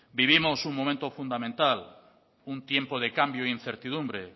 vivimos un momento fundamental un tiempo de cambio e incertidumbre